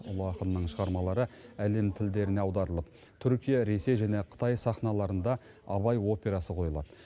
ұлы ақынның шығармалары әлем тілдеріне аударылып түркия ресей және қытай сахналарында абай операсы қойылады